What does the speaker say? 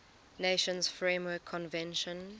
nations framework convention